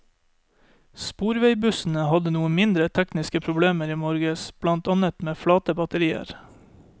Sporveisbussene hadde noen mindre tekniske problemer i morges, blant annet med flate batterier.